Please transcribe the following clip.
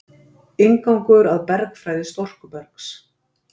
„inngangur að bergfræði storkubergs“